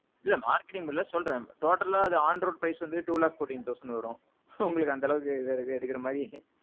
இல்ல marketing இல்ல சொல்றேன் totalஅ on road price வந்து ரெண்டு லட்சத்தி பதினாலு ஆயிரம் வரும். உங்களுக்கு அந்த அளவுக்கு இருக்கா எடுக்குற மாறி?